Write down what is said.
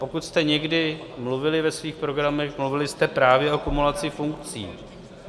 Pokud jste někdy mluvili ve svých programech, mluvili jste právě o kumulaci funkcí.